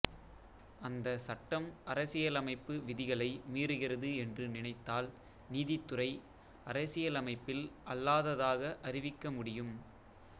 அந்த சட்டம் அரசியலமைப்பு விதிகளை மீறுகிறது என்று நினைத்தால் நீதித்துறை அரசியலமைப்பில் அல்லாததாக அறிவிக்க முடியும்